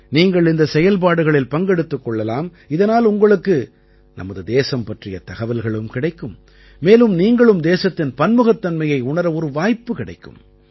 நீங்கள் இந்தச் செயல்பாடுகளில் பங்கெடுத்துக் கொள்ளலாம் இதனால் உங்களுக்கு நமது தேசம் பற்றிய தகவல்களும் கிடைக்கும் மேலும் நீங்களும் தேசத்தின் பன்முகத்தன்மையை உணர ஒரு வாய்ப்பு கிடைக்கும்